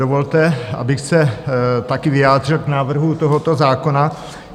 Dovolte, abych se taky vyjádřil k návrhu tohoto zákona.